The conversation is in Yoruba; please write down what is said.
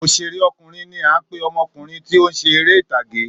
Òṣèré ọkùnrin ní a ń pe ọmọkùnrin tí ọ ń ṣe eré ìtàge